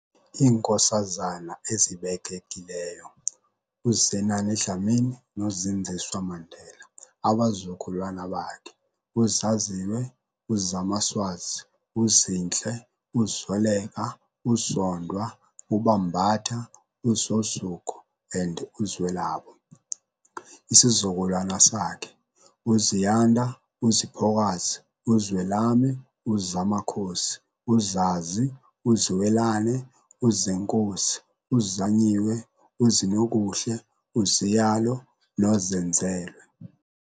IiNkosazana ezibekekileyo uZenani Dlamini noZindziswa Mandela, abazukulwana bakhe- uZaziwe, uZamaswazi, uZinhle, uZoleka, uZondwa, uBambatha, uZozuko and uZwelabo- isizukulwane sakhe- uZiyanda, uZiphokazi, uZwelami, uZamakhosi, uZazi, uZiwelane, uZenkosi, uZanyiwe, uZinokuhle, uZiyalo noZenzelwe.